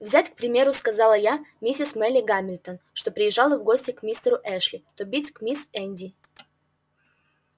взять к примеру сказала я мисс мелли гамильтон что приезжала в гости к мистеру эшли то бить к мисс индии